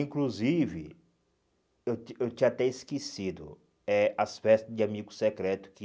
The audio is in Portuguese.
Inclusive, eu tinha eu tinha até esquecido eh as festas de amigo secreto que...